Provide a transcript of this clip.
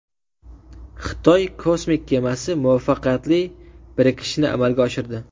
Xitoy kosmik kemasi muvaffaqiyatli birikishni amalga oshirdi.